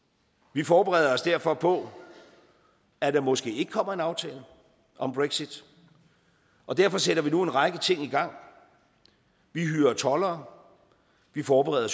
vi forbereder os derfor på at der måske ikke kommer en aftale om brexit og derfor sætter vi nu en række ting i gang vi hyrer toldere vi forbereder